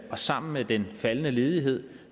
og sammen med den faldende ledighed